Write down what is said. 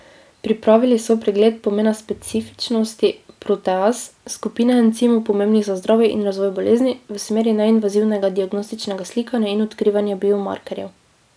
Pripravili so pregled pomena specifičnosti proteaz, skupine encimov, pomembnih za zdravje in razvoj bolezni, v smeri neinvazivnega diagnostičnega slikanja in odkrivanja biomarkerjev.